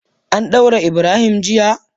An daure Ibrahim jiya?